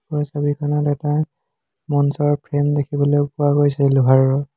ওপৰৰ ছবিখনত এটা মঞ্চৰ ফ্ৰেম দেখিবলৈ পোৱা গৈছে লোহাৰৰ।